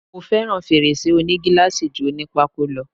Mo fẹ́ràn fèrèsé òní gíláàsì ju oní pákó lọ.